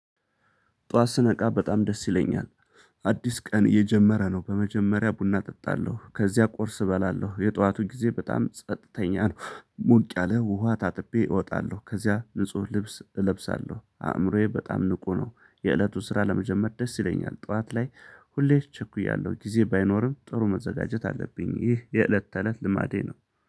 ጧት ስነቃ በጣም ደስ ይለኛል። አዲስ ቀን እየጀመረ ነው በመጀመሪያ ቡና እጠጣለሁ ከዚያ ቁርስ እበላለሁ የጠዋቱ ጊዜ በጣም ጸጥተኛ ነው። ሞቅ ያለ ውሃ ታጥቤ እወጣለሁ ከዚያ ንጹህ ልብስ እለብሳለሁ አእምሮዬ በጣም ንቁ ነው። የእለቱ ስራ ለመጀመር ደስ ይለኛል። ጠዋት ላይ ሁሌም እቸኩያለሁ ጊዜ ባይኖርም ጥሩ መዘጋጀት አለብኝ ይህ የእለት ተእለት ልማዴ ነው